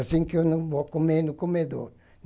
Assim que eu não vou comer no comedor.